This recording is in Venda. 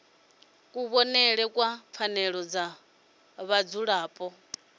kuvhonele kwa pfanelo dza vhadzulapo